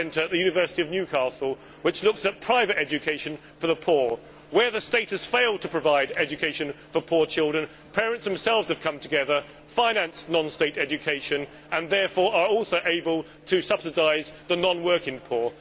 West Centre at the University of Newcastle, which looks at private education for the poor. Where the state has failed to provide education for poor children, parents themselves have come together, finance non state education and, therefore, are also able to subsidise the non working poor.